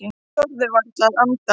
Hann þorði varla að anda.